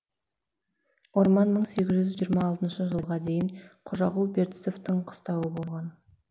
орман мың сегіз жүз жиырма алтыншы жылға дейін қожағұл бертісовтің қыстауы болған